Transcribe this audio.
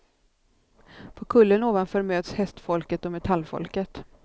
På kullen ovanför möts hästfolket och metallfolket.